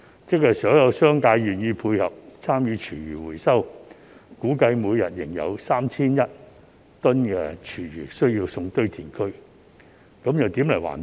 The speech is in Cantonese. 即使所有業界願意配合參與廚餘回收，估計每天仍有 3,100 公噸廚餘需要送往堆填區，這又何來環保？